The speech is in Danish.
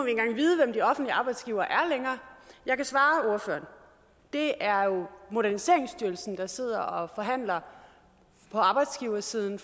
vi offentlige arbejdsgivere er jeg kan svare ordføreren det er jo moderniseringsstyrelsen der sidder og forhandler på arbejdsgiversiden